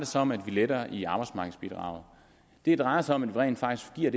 sig om at vi letter i arbejdsmarkedsbidraget det drejer sig om at vi rent faktisk giver